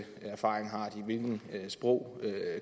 erfaring har de hvilke sprog